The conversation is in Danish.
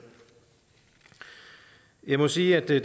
jeg må sige at der i